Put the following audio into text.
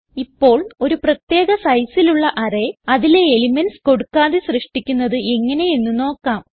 ഇപ്പോൾ ഒരു പ്രത്യേക sizeലുള്ള അറേ അതിലെ എലിമെന്റ്സ് കൊടുക്കാതെ സൃഷ്ടിക്കുന്നത് എങ്ങനെ എന്ന് നോക്കാം